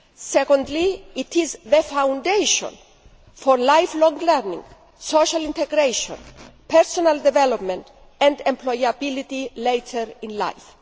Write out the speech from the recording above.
Secondly, they are the foundation for lifelong learning, social integration, personal development and employability later in life.